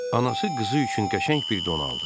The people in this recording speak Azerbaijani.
Anası qızı üçün qəşəng bir don aldı.